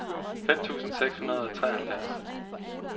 fem tusind seks hundrede og treoghalvfjerds